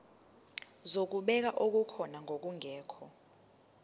zokubheka okukhona nokungekho